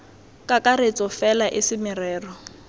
kakaretso fela e se merero